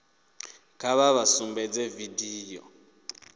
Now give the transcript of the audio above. kha vha vha sumbedze vidio